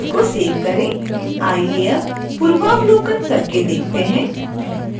आइए अब पूर्वावलोकन करके देखते हैं